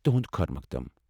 تہنٛد خٲر مخدم ۔